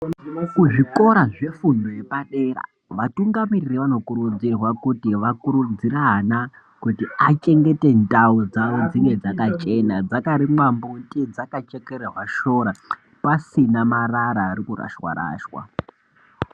Kuzvikora zvefundo yepadera vatungamiriri vanokurudzirwa kuti vakurudzire ana kuti achengete ndau dzawo dzinge dzakachena, dzakarimwa mbuti dzakachekererwa shora pasina marara ari kurashwa rashwa.